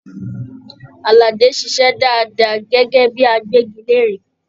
Aládé ṣiṣẹ dáadáa gẹgẹ bíi àgbẹgilère.